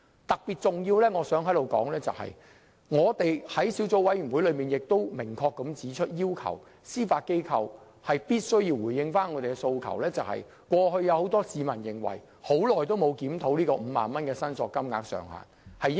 特別重要的是，我們在小組委員會明確要求司法機構必須回應市民的訴求，即 50,000 元申索限額長期沒有檢討，應該有所提高。